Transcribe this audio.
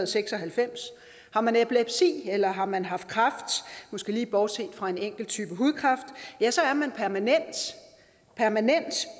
seks og halvfems har man epilepsi eller har man haft kræft måske lige bortset fra en enkel type hudkræft ja så er man permanent permanent